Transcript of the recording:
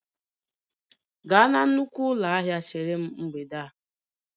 Gaa na nnukwu ụlọ ahịa chere m mgbede a!